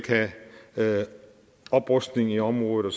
have oprustning i området og